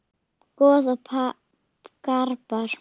Goð og garpar